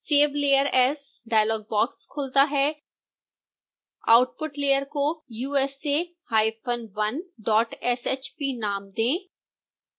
save layer as dialog box खुलता है output layer को usa1shp नाम दें